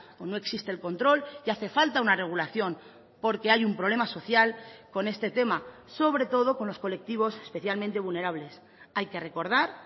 o no existe el control y hace falta una regulación porque hay un problema social con este tema sobre todo con los colectivos especialmente vulnerables hay que recordar